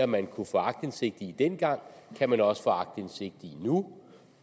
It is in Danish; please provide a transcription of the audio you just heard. man kunne få aktindsigt i dengang kan man også få aktindsigt i nu